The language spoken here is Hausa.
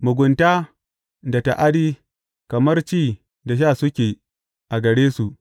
Mugunta da ta’adi kamar ci da sha suke a gare su.